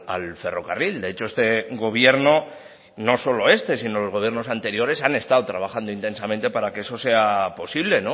al ferrocarril de hecho este gobierno no solo este sino el gobiernos anteriores han estado trabajando intensamente para que eso sea posible